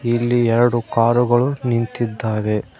ಇಲ್ಲಿ ಎರಡು ಕಾರ್ ಗಳು ನಿಂತಿದ್ದಾವೆ.